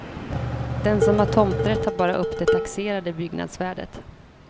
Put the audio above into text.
Den som har tomträtt tar bara upp det taxerade byggnadsvärdet.